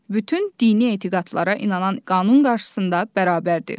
Bütün dini etiqadlara inanan qanun qarşısında bərabərdir.